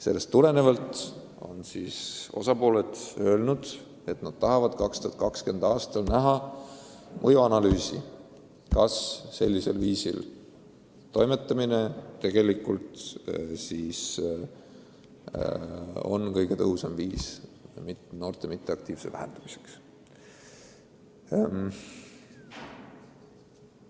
Sellest tulenevalt ongi osapooled öelnud, et nad tahavad hiljemalt 2020. aastal näha mõjuanalüüsi, kas sellisel viisil toimetamine on kõige tõhusam viis noorte passiivsust vähendada.